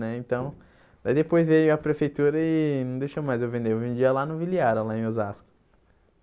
Né então Daí depois veio a prefeitura e não deixou mais eu vender, eu vendia lá no Viliara, lá em Osasco.